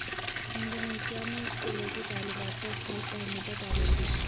Indonesia میں سکولوں کی طالبات پر سکارف پہننے پر پابندی